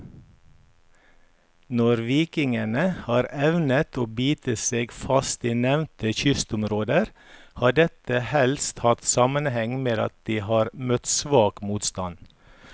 Når vikingene har evnet å bite seg fast i nevnte kystområder, har dette helst hatt sammenheng med at de har møtt svak motstand.